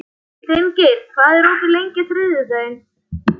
Finngeir, hvað er opið lengi á þriðjudaginn?